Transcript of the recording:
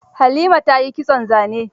Halima ta yi kitson zane.